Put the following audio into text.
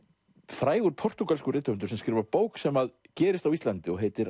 frægur portúgalskur rithöfundur sem skrifar bók sem gerist á Íslandi og heitir